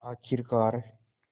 आख़िरकार